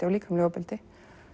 og líkamlegu ofbeldi